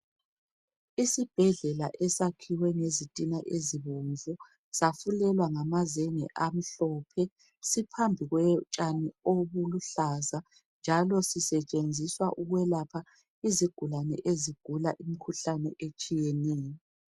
Isibhedlela esakhiwe ngezitina ezibomvu safulelwa ngamazenge amhlophe siphambi kotshani obuluhlaza .Njalo sisetshenziswa ukwelapha izigulane ezigula imkhuhlane etshiyeneyo .